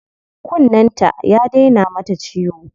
Kunnen ta ya daina mata ciwo.